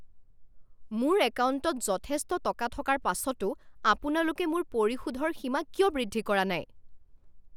মোৰ একাউণ্টত যথেষ্ট টকা থকাৰ পাছতো আপোনালোকে মোৰ পৰিশোধৰ সীমা কিয় বৃদ্ধি কৰা নাই?